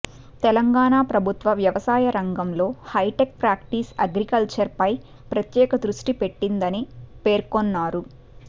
తెలంగాణ ప్రభుత్వం వ్యవసాయ రంగంలో హైటెక్ ప్రాక్టీస్ అగ్రికల్చర్పై ప్రత్యేక దృష్టిపెట్టిందని పేర్కొన్నారు